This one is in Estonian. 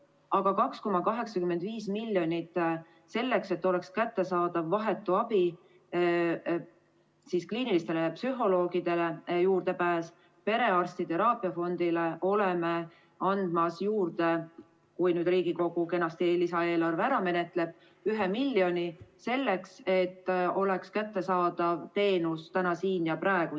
Aga 2,85 miljonit selleks, et oleks kättesaadav vahetu abi, kliinilistele psühholoogidele juurdepääs, perearstide teraapiafondile, anname juurde – kui Riigikogu lisaeelarve kenasti ära menetleb – ühe miljoni selleks, et teenus oleks inimestele kättesaadav täna siin ja praegu.